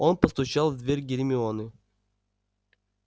он постучал в дверь гермионы